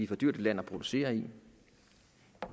for dyrt et land at producere i